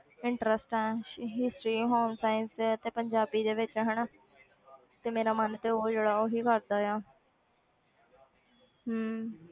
Interest ਹੈ history home science ਤੇ ਪੰਜਾਬੀ ਦੇ ਵਿੱਚ ਹਨਾ ਤੇ ਮੇਰਾ ਮਨ ਤੇ ਉਹ ਜਿਹੜਾ ਉਹੀ ਕਰਦਾ ਆ ਹਮ